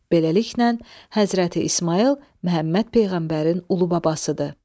Beləliklə, Həzrəti İsmayıl Məhəmməd peyğəmbərin ulu babasıdır.